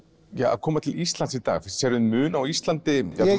að koma til Íslands í dag sérðu mun á Íslandi